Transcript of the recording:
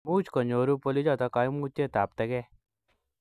much konyoru bolichoto kaimutietab tege